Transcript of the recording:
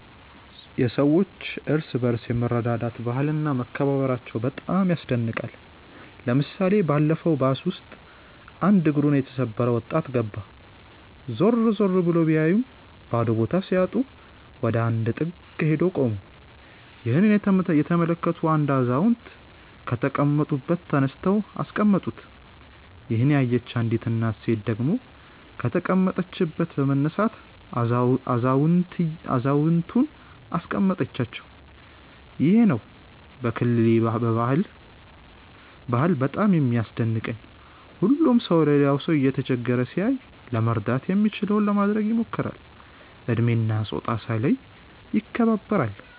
የሰዎች እርስ በርስ የመረዳዳት ባህል እና መከባበራቸው በጣም ያስደንቀኛል። ለምሳሌ ባለፈው ባስ ውስጥ አንድ እግሩን የተሰበረ ወጣት ገባ። ዞር ዞር ብሎ ቢያይም ባዶ ቦታ ሲያጣ ወደ አንድ ጥግ ሄዶ ቆመ። ይህንን የተመለከቱ አንድ አዛውንት ከተቀመጡበት ተነስተው አስቀመጡት። ይሄንን ያየች አንዲት ሴት ደግሞ ከተቀመጠችበት በመነሳት አዛውየንቱን አስቀመጠቻቸው። ይሄ ነው ከክልሌ ባህል በጣም የሚያስደንቀኝ። ሁሉም ሰው ሌላ ሰው እየተቸገረ ሲያይ ለመርዳት የሚችለውን ለማድረግ ይሞክራል። እድሜ እና ፆታ ሳይለዩ ይከባበራሉ።